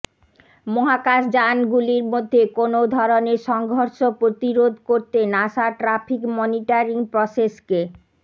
মহাকাশযান গুলির মধ্যে কোনও ধরণের সংঘর্ষ প্রতিরোধ করতে নাসা ট্রাফিক মনিটারিং প্রসেসকে